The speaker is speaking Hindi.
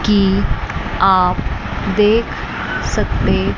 कि आप देख सकते--